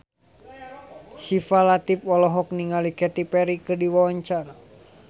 Syifa Latief olohok ningali Katy Perry keur diwawancara